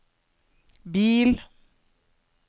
bil